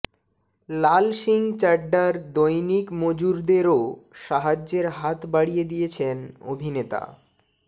লাল সিং চাড্ডার দৈনিক মজুরদেরও সাহায্যের হাত বাড়িয়ে দিয়েছেন অভিনেতা